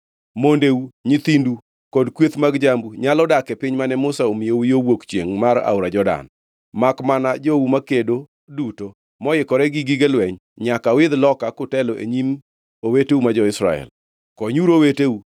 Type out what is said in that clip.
Mondeu, nyithindu kod kweth mag jambu nyalo dak e piny mane Musa omiyou yo ka wuok chiengʼ mar aora Jordan, makmana jou makedo duto, moikore gi gige lweny, nyaka uidh loka kutelo e nyim oweteu ma jo-Israel. Konyuru oweteu,